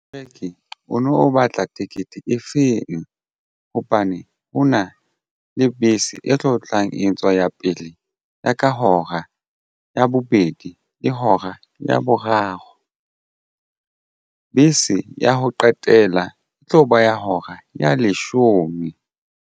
Moreki o no batla ticket e feng hobane hona le bese e tlo tlang e etswa ya pele ya ka hora ya bobedi le hora ya boraro bese ya ho qetela e tlo ba ya hora ya leshome.